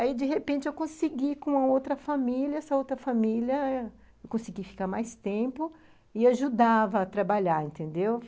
Aí, de repente, eu consegui, com a outra família, essa outra família, eu consegui ficar mais tempo e ajudava a trabalhar, entendeu?